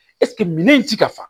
minan in ti ka fa